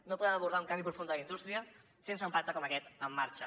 no podem abordar un canvi profund de la indústria sense un pacte com aquest en marxa